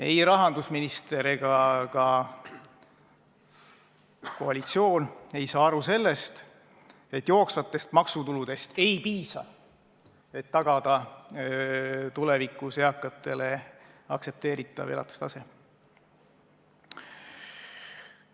Ei rahandusminister ega ka koalitsioon ei saa aru sellest, et jooksvatest maksutuludest ei piisa, et tagada tulevikus eakatele aktsepteeritav elatustase.